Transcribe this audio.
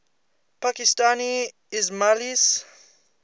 pakistani ismailis